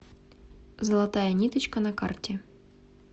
золотая ниточка на карте